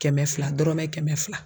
Kɛmɛ fila dɔrɔmɛ kɛmɛ fila